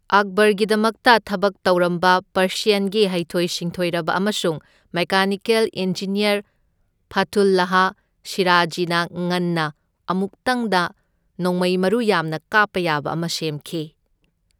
ꯑꯛꯕꯔꯒꯤꯗꯃꯛꯇ ꯊꯕꯛ ꯇꯧꯔꯝꯕ ꯄꯥꯔꯁꯤꯌꯟꯒꯤ ꯍꯩꯊꯣꯏ ꯁꯤꯡꯊꯣꯏꯔꯕ ꯑꯃꯁꯨꯡ ꯃꯦꯀꯥꯅꯤꯀꯦꯜ ꯏꯟꯖꯤꯅꯤꯌꯔ ꯐꯊꯨꯜꯂꯥꯍ ꯁꯤꯔꯥꯖꯤꯅ ꯉꯟꯅ ꯑꯃꯨꯛꯇꯪꯗ ꯅꯣꯡꯃꯩ ꯃꯔꯨ ꯌꯥꯝꯅ ꯀꯥꯞꯄ ꯌꯥꯕ ꯑꯃ ꯁꯦꯝꯈꯤ꯫